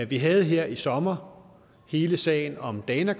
vi havde her i sommer hele sagen om dana